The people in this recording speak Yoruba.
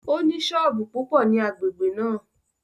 Ó ní sọ́ọ̀bù púpọ̀ ní agbègbè náà